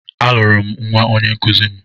A lụrụ m nwa onyenkụzi m.